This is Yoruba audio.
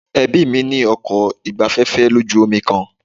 Ẹbí mí ní ọkọ̀ ìgbafẹ́fẹ́ lójú omi kan.